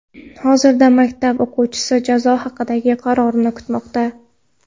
Hozirda maktab o‘quvchisi jazo haqidagi qarorni kutmoqda.